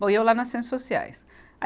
Bom, e eu lá nas Ciências Sociais.